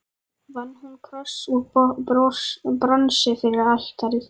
Vann hún kross úr bronsi yfir altarið.